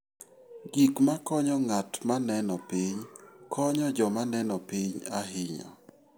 Gik makonyo ng'at ma neno piny konyo joma neno piny ahinya.